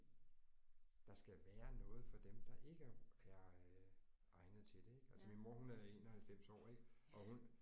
Der skal være noget for dem der ikke er øh egnet til det ik. Altså min mor hun er 91 år ik og hun